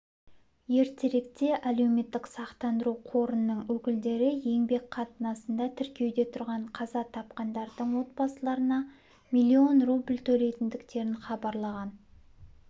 ертеректе әлеуметтік сақтандыру қорының өкілдері еңбек қатынасында тіркеуде тұрған қаза тапқандардың отбасыларына миллион рубль төлейтіндіктерін хабарлаған